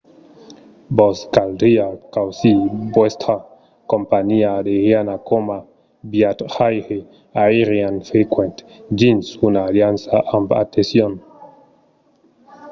vos caldriá causir vòstra companhiá aeriana coma viatjaire aerian frequent dins una aliança amb atencion